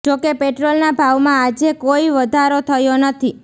જો કે પેટ્રોલના ભાવમાં આજે કોઈ વધારો થયો નથી